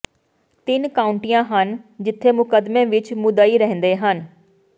ਤਿੰਨ ਕਾਉਂਟੀਆਂ ਹਨ ਜਿੱਥੇ ਮੁਕੱਦਮੇ ਵਿਚ ਮੁਦਈ ਰਹਿੰਦੇ ਹਨ